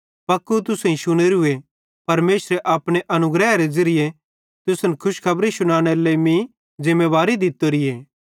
पक्कू तुसेईं शुनेरूए परमेशरे अपने अनुग्रहेरे ज़िरिये तुसन खुशखबरी शुन्नेरी लेइ मीं ज़िमेवारी दित्तोरीए